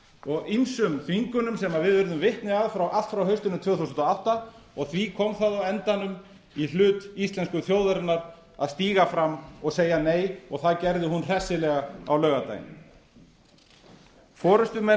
og ýmsum þvingunum sem við urðum vitni að allt frá haustinu tvö þúsund og átta og því koma það á endanum í hlut íslensku þjóðarinnar að stíga fram og segja nei og það gerði hún hressilega á laugardaginn forustumenn